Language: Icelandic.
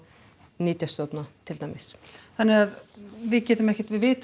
nytjastofna til dæmis þannig að við getum ekkert við vitum